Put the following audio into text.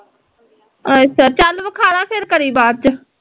ਅੱਛਾ ਚੱਲ ਵੇਖਾਲਾ ਫੇਰ ਕਰੀ ਬਾਦ ਚ